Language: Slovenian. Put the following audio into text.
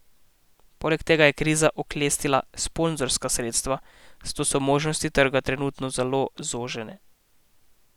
Poleg tega je kriza oklestila sponzorska sredstva, zato so možnosti trga trenutno zelo zožene.